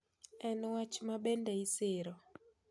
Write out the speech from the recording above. En wach ma bende isiro